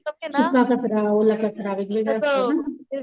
सुका कचरा ओला कचरा वेगवेगळा असतो ना